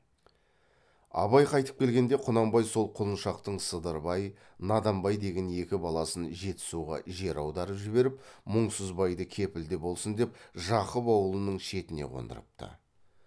абай қайтып келгенде құнанбай сол құлыншақтың сыдырбай наданбай деген екі баласын жетісуға жер аударып жіберіп мұңсызбайды кепілде болсын деп жақып аулының шетіне қондырыпты